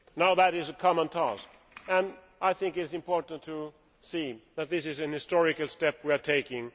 This is a common task, and I think it is important to see that this is a historic step we are taking.